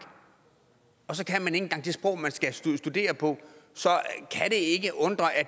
og så kan man ikke engang det sprog man skal studere på så